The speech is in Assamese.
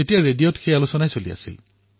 ৰেডিঅত তেতিয়া এই বিষয়ে চৰ্চা হৈ আছিল